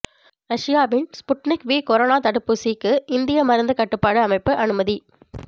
ரஷ்யாவின் Sputnik V corona தடுப்பூசிக்கு இந்திய மருந்து கட்டுப்பாட்டு அமைப்பு அனுமதி